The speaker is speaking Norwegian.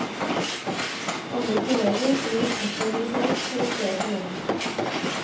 Andre kolleger driver postordresalg for å spe på lønnen.